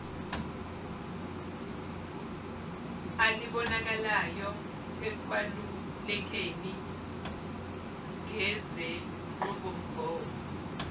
alibonakalayo ekwalulekeni ngezenqubomgomo